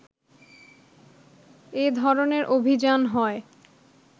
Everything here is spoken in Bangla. এ ধরণের অভিযান হয়